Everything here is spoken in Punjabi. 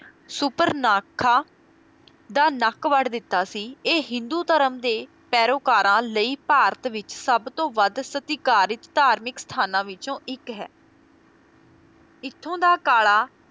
ਸੁਪਰਨਾਖਾ ਦਾ ਨੱਕ ਵੱਢ ਦਿੱਤਾ ਸੀ ਇਹ ਹਿੰਦੂ ਧਰਮ ਦੇ ਪੈਰੋਕਾਰਾਂ ਲਈ ਭਾਰਤ ਵਿੱਚ ਸਭਤੋਂ ਵੱਧ ਸਤਿਕਾਰਿਤ ਧਾਰਮਿਕ ਸਥਾਨਾਂ ਵਿੱਚੋਂ ਇੱਕ ਹੈ, ਇੱਥੋਂ ਦਾ ਕਾਲਾ